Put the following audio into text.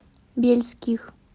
бельских